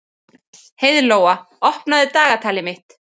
Heiðlóa, opnaðu dagatalið mitt.